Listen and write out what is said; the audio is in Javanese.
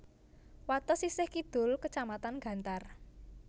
Wates sisih kidul kecamatan Gantar